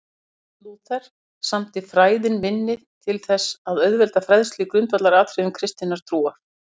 Marteinn Lúther samdi Fræðin minni til þess að auðvelda fræðslu í grundvallaratriðum kristinnar trúar.